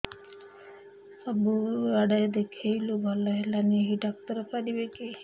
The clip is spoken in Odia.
ସବୁଆଡେ ଦେଖେଇଲୁ ଭଲ ହେଲାନି ଏଇ ଡ଼ାକ୍ତର ପାରିବେ କି